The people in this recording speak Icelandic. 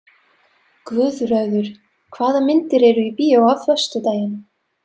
Guðröður, hvaða myndir eru í bíó á föstudaginn?